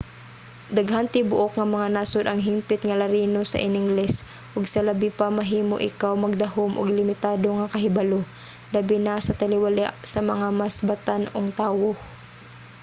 daghang tibuok nga mga nasod ang hingpit nga larino sa iningles ug sa labi pa mahimo ikaw magdahom og limitado nga kahibalo - labi na sa taliwala sa mga mas batan-ong tawo